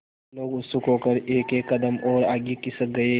लोग उत्सुक होकर एकएक कदम और आगे खिसक गए